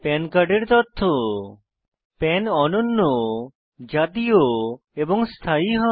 পান কার্ডের তথ্য পান অনন্য জাতীয় এবং স্থায়ী হয়